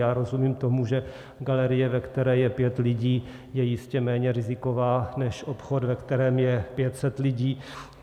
Já rozumím tomu, že galerie, ve které je pět lidí, je jistě méně riziková než obchod, ve kterém je 500 lidí.